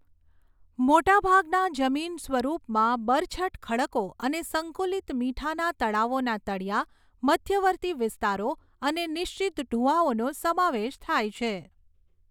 મોટાભાગના જમીનસ્વરૂપમાં બરછટ ખડકો અને સંકુલિત મીઠાના તળાવોના તળિયા, મધ્યવર્તી વિસ્તારો અને નિશ્ચિત ઢૂવાઓનો સમાવેશ થાય છે.